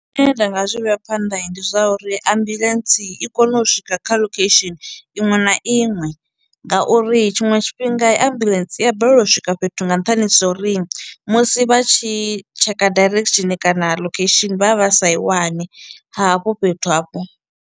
Zwine nda nga zwi vhea phanḓa ndi zwa uri ambuḽentse i kono u swika kha lokhesheni iṅwe na iṅwe ngauri tshiṅwe tshifhinga ambuḽentse i ya balelwa u swika fhethu nga nṱhani zwo uri musi vha tshi tsheka direction kana location vha vha vha sa i wani hafho fhethu hafho.